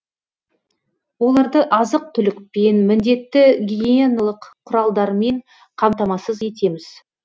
оларды азық түлікпен міндетті гигиеналық құралдармен қамтамасыз етеміз